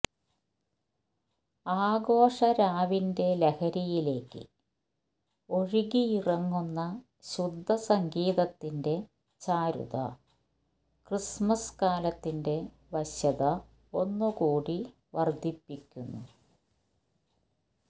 ആഘോഷരാവിന്റെ ലഹരിയിലേക്ക് ഒഴുകിയിറങ്ങുന്ന ശുദ്ധ സംഗീതത്തിന്റെ ചാരുത ക്രിസ്മസ് കാലത്തിന്റെ വശ്യത ഒന്നു കൂടി വർധിപ്പിക്കുന്നു